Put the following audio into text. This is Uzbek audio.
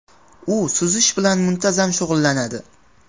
U suzish bilan muntazam shug‘ullanadi.